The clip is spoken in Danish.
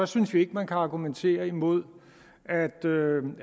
synes vi ikke man kan argumentere imod